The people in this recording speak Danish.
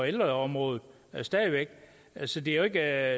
ældreområdet så det er jo ikke